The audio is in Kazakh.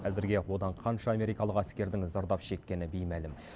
әзірге одан қанша америкалық әскердің зардап шеккені беймәлім